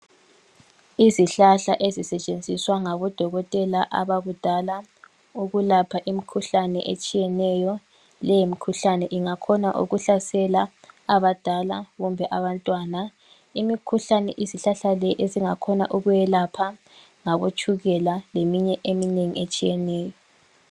Izihlahla ezisetshenziswa ngabo dokotela abakudala ukwelapha imikhuhlane etshiyeneyo, leyi mikhuhlane ingakhona ukuhlasela abadala kumbe abantwana, imikhuhlane izihlahla ezingakhona ukuyelapha ngabo tshukela leminye eminengi etshiyeneyo.